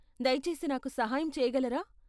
దయచేసి నాకు సహాయం చేయగలరా?